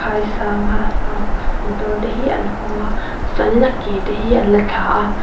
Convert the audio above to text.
ai sang a a motor te hi an hawng a tichuan in a ke te hi an la thla a.